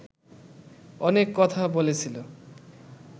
অনেক কথা বলেছিল